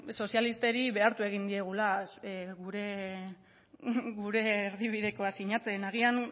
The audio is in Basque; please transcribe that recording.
sozialistei behartu egin diegula gure erdibidekoa sinatzen agian